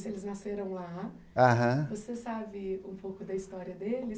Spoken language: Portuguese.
Eles nasceram lá aham você sabe um pouco da história deles?